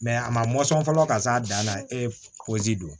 a ma mɔ sɔn fɔlɔ ka s'a dan na e don